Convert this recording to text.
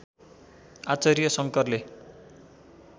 आचार्य शङ्करले